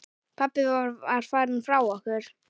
Pabbi var farinn frá okkur.